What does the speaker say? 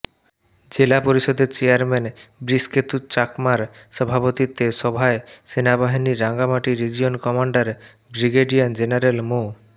জেলা পরিষদের চেয়ারম্যান বৃষকেতু চাকমার সভাপতিত্বে সভায় সেনাবাহিনীর Rangamati region commander brigadier general মো